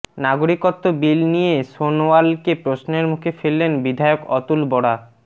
নাগরিকত্ব বিল নিয়ে সোনোয়ালকে প্ৰশ্নের মুখে ফেললেন বিধায়ক অতুল বরা